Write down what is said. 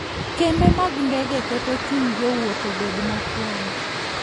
Kembe mag ndege keto chuny jowuoth obed mokwongo.